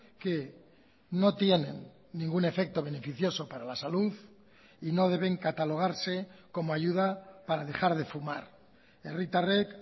que no tienen ningún efecto beneficioso para la salud y no deben catalogarse como ayuda para dejar de fumar herritarrek